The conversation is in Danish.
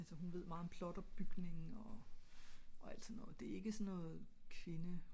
altså hun ved meget om plot opbygnning og alt så noget